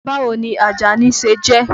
Báwo ni Àjàní ṣe jẹ́?